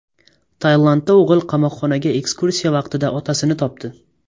Tailandda o‘g‘il qamoqxonaga ekskursiya vaqtida otasini topdi.